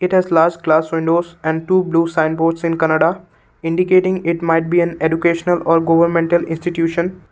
glass windows and two blue signboards in kannada indicating it might be an educational or governmental institution.